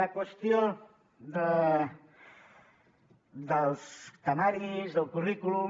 la qüestió dels temaris del currículum